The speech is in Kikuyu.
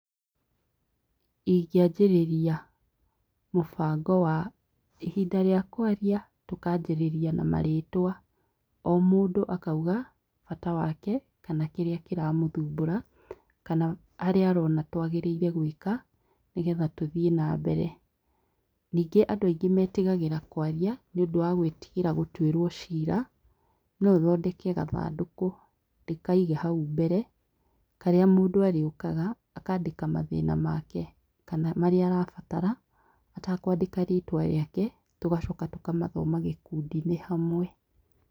Ingianjĩrĩria mũbango wa ihinda rĩa kwaria tũkanjĩrĩria na marĩtwa o mũndũ akauga bata wake kana kĩria kĩramũthumbura kana haria arona twagĩrĩire gwĩka nĩgetha tũthiĩ nambere. Ningĩ andũ aingĩ metigagĩra kwaria nĩũndũ wa gwĩtigĩra gũtwĩrwo cira, no ũthondeke gathandũkũ ndĩkaige hau mbere karĩa mũndũ arĩũkaga akandĩka mathĩna make kana marĩa arabatara atakwandĩka rĩtwa rĩake tũgacoka tũkamathoma gĩkundinĩ hamwe.